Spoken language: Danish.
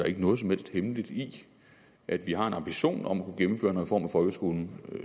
ikke noget som helst hemmeligt i at vi har en ambition om at kunne gennemføre en reform af folkeskolen